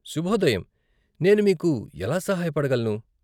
శుభోదయం, నేను మీకు ఎలా సహాయపడగలను?